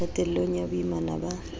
qetel long ya boimana ba